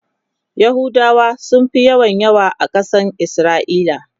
yahudawa sunfi yawa yawa a Kasan isra'ila